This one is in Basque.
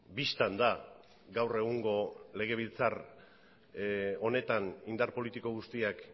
bistan da gaur egungo legebiltzar honetan indar politiko guztiak